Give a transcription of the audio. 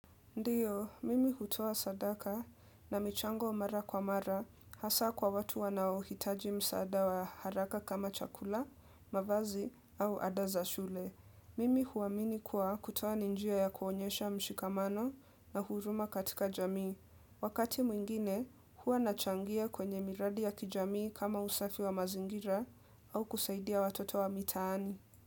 Ndiyo, mimi hutoa sadaka na michango mara kwa mara hasa kwa watu wanaohitaji msaada wa haraka kama chakula, mavazi au Ada za shule. Mimi huamini kuwa kutoa ni njia ya kuonyesha mshikamano na huruma katika jamii. Wakati mwingine, huwa nachangia kwenye miradi ya kijamii kama usafi wa mazingira au kusaidia watoto wa mitaani.